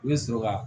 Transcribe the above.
I bɛ sɔrɔ ka